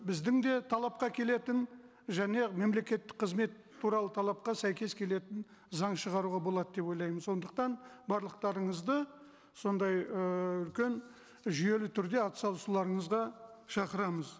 біздің де талапқа келетін және мемлекеттік қызмет туралы талапқа сәйкес келетін заң шығаруға болады деп ойлаймын сондықтан барлықтарыңызды сондай ыыы үлкен жүйелі түрде атсалысуларыңызға шақырамыз